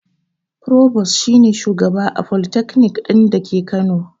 Furobos shi ne shugaba a folitakanik ɗin da ke kano